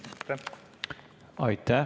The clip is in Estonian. Aitäh!